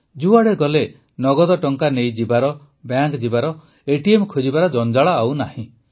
ଯୁଆଡ଼େ ଗଲେ ନଗଦ ଟଙ୍କା ନେଇ ଯିବାର ବ୍ୟାଙ୍କ ଯିବାର ଏଟିଏମ୍ ଖୋଜିବାର ଜଞ୍ଜାଳ ନାହିଁ